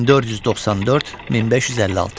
1494-1556.